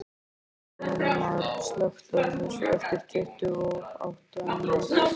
Hjalmar, slökktu á þessu eftir tuttugu og átta mínútur.